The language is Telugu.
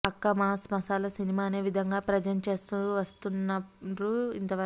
పక్కా మాస్ మసాల సినిమా అనే విధంగానే ప్రెజెంట్ చేస్తూవస్తున్నారు ఇంతవరకు